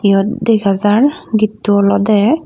iyot dega jar getto olodey.